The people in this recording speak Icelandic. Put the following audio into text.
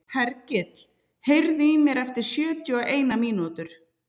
Hergill, heyrðu í mér eftir sjötíu og eina mínútur.